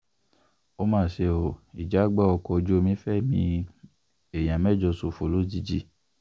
ó mà ṣe o ìjàgbá ọkọ̀ ojú omi fẹ̀mí èèyàn mẹ́jọ ṣòfò lójijì